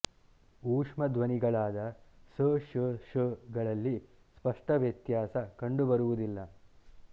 ಊಷ್ಮ ಧ್ವನಿಗಳಾದ ಸ್ ಶ್ ಷ್ ಗಳಲ್ಲಿ ಸ್ಪಷ್ಟ ವ್ಯತ್ಯಾಸ ಕಂಡುಬರುವುದಿಲ್ಲ